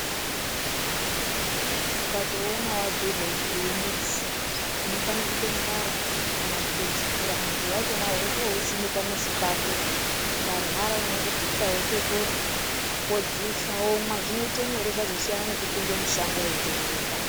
Ukatoona wabhuyirwe kunzu uyu mudzi, unofanire kutongwara kana kutodzipura mudzi wachona wotousime pamuzi pako. Ukarwara unongosvike wototora, wodziisa, womwa. Zvinoite nyore, zvozosiyana nekupinde mushango wonzerereka.